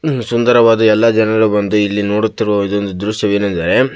ಸುಂದರವಾದ ಎಲ್ಲ ಜನರು ಬಂದು ಇಲ್ಲಿ ನೋಡುತ್ತಿರುವ ಇದೊಂದು ದ್ರಶ್ಯವೇನೆಂದರೆ --